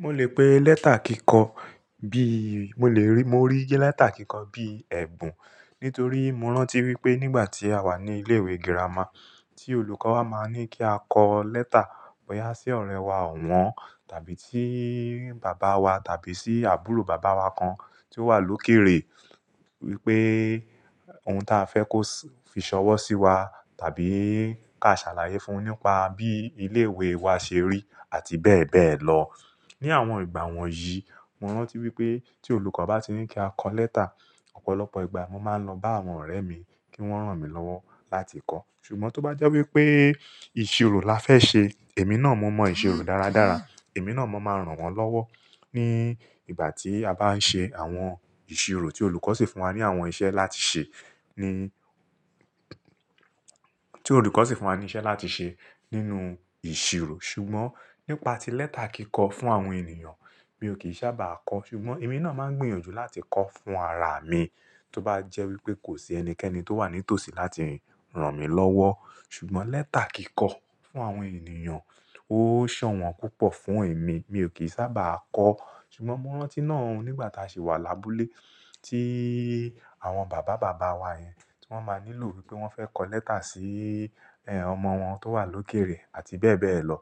Mo lè pé lẹ́tà kíkọ bí, mo lè rí, mo rí lẹ́tà kíkọ bí ẹ̀bùn nítorí mo rántí wípé nígbà tí a wà ní ilé ìwé girama tí olùkọ́ wa máa ní kí a kọ lẹ́tà bọyá sí ọ̀rẹ́ wa ọ̀wọ́n tàbí sí bàbá wa tàbí sí àbúrò bàbá wa kan tí ó wà lókèèrè wípé ohun ta fẹ́ kó fi ṣọwọ́ sí wa tàbí ká ṣàlàyé fún un nípa bí ilé ìwé wa ṣe rí àti bẹ́ẹ̀ bẹ́ẹ̀ lọ. Ni àwọn ìgbà wọ̀nyí, mo rántí wípé tí olùkọ́ bá ti ní kí a kọ lẹ́tà, ọ̀pọ̀lọpọ̀ ìgbà mo máa ń lọ bá àwọn ọ̀rẹ́ mi kí wón ràn mí lọ́wọ́ láti kọ̀. Ṣùgbọ́n tó bá jẹ́ wípé ìṣirò la fẹ́ ṣe, èmi náà mo mọ ìṣirò dáradára, èmi náà mo máa ń ràn wọ́n lọ́wọ́ ní ìgbà tí a bá ń ṣe àwọn ìṣirò tí olùkọ́ sì fún wa ní àwọn iṣẹ́ láti ṣe ní, tí olùkọ́ sì fún wa ní iṣẹ́ láti ṣe nínú ìṣirò. Ṣùgbọ́n nípa ti lẹ́tà kíkọ fún àwọn ènìyàn, mi ò kì í sábàá kọ. Ṣùgbọ́n èmi náà máa ń gbìyànjú láti kọ fún ara mi tó bá jẹ́ wípé kò sí ẹnikẹ́ni tó wà ní tòsí láti ràn mí lọ́wọ́. Ṣùgbọ́n lẹ́tà kíkọ fún àwọn ènìyàn ó sàn wọ́n púpọ̀ fún èmi, mi ò kì í sábàá kọ. Ṣùgbọ́n mo rántí náà ni ìgbà tí a ṣe wà lábúlé, tí àwọn bàbá bàbá wa yẹn tí wọ́n máa nílò wípé wọ́n fẹ́ kọ lẹ́tà sí ẹ́, ọmọ wọn tó wà lókèèrè àti bẹ́ẹ̀ bẹ́ẹ̀ lọ.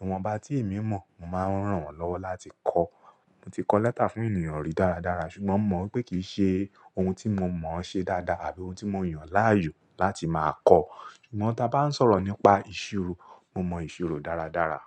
Ìwọ́nbá ti èmí mọ̀, mò máa ń ràn wọ́n lọ́wọ́ láti kọ̀. Mo ti kọ lẹ́tà fún ènìyàn rí dáradára, ṣùgbọ́n mo mọ̀ pé kìí ṣe ohun tí mo mọ̀ ṣe dáadáa àbí ohun tí mo yàn láàyò láti máa kọ. Ṣùgbọ́n tí a bá ń sọ̀rọ̀ nípa ìṣirò, mo mọ ìṣirò dáradára.